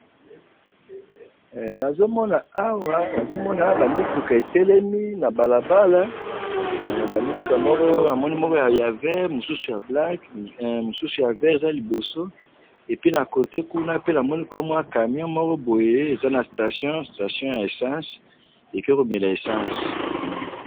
Namoni awa ba mituka na nzela, moko ya verte, mususu ya black na camion ezo mela essence na station.